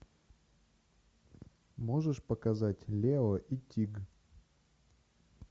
можешь показать лео и тиг